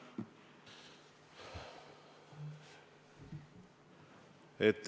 ... kiiresti vastu võtta.